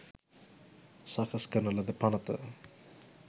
සකස් කරන ලද පණත